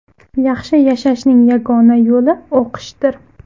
Yaxshi yashashning yagona yo‘li o‘qishdir.